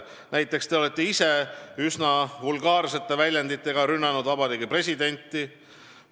Näiteks olete teie ise üsna vulgaarsete väljenditega rünnanud Vabariigi Presidenti.